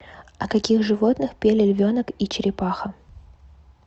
о каких животных пели львенок и черепаха